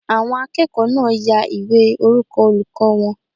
Àwọn akẹ́kọ̀ọ́ náà ya ìwé orúkọ olùkọ́ wọn